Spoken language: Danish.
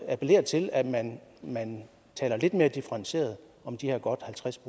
appellere til at man man taler lidt mere differentieret om de her godt halvtreds